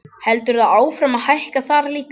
Heldur það áfram að hækka þar líka?